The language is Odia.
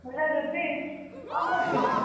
Hello ରୁବି କଁ କରୁଛୁ?